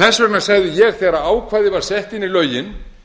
þess vegna sagði ég þegar ákvæðið var sett inn í lögin